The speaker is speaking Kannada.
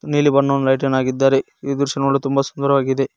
ನೀಲಿ ಬಣ್ಣವು ಲೈಟನ್ನು ಹಾಕಿದ್ದಾರೆ ಈ ದೃಶ್ಯ ನೋಡಲು ತುಂಬ ಸುಂದರವಾಗಿದೆ.